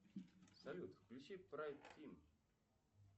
салют включи прайд тим